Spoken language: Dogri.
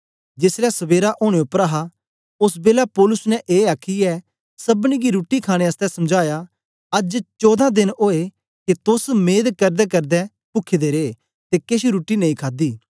जेसलै सबेरा ओनें पर हा ओस बेलै पौलुस ने ए आखीयै सबनी गी रुट्टी खाणे आसतै समझाया अज्ज चौदां देन ओए के तोस मेद करदेकरदे पुखे दे रे ते केछ रुट्टी नेई खादी